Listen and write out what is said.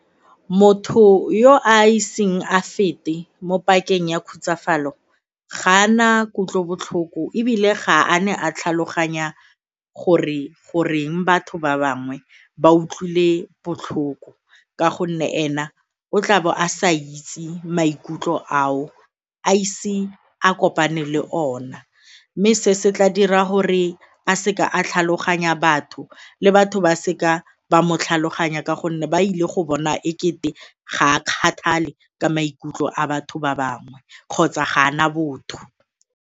Motho yo a iseng a fete mo pakeng ya khutsafalo ga a na kutlobotlhoko ebile ga a ne a tlhaloganya gore goreng batho ba bangwe ba utlwile botlhoko ka gonne ena o tlabo a sa itse maikutlo ao, a ise a kopane le ona mme se se tla dira gore a seka a tlhaloganya batho le batho ba seka ba mo tlhaloganya ka gonne ba ile go bona ekete ga a kgathale ka maikutlo a batho ba bangwe kgotsa ga a na botho.